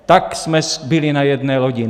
Tak jsme byli na jedné lodi.